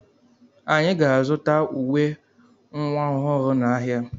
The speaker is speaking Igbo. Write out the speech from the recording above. Anyị ga-azụta uwe nwa ọhụrụ n'ahịa.